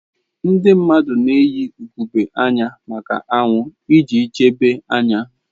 Ndị mmadụ na-eyi ugogbe anya maka anwụ iji chebe anya.